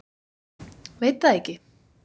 Veit það ekki.